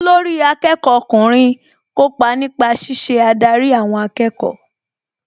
Olórí akẹ́kọ̀ọ́ ọkùnrin kópa nípa ṣíṣe adarí àwọn akẹ́kọ̀ọ́